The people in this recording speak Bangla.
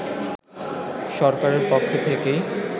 সরকারের পক্ষ থেকেই